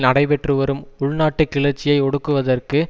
நடைபெற்றுவரும் உள்நாட்டு கிளர்ச்சியை ஒடுக்குவதற்கு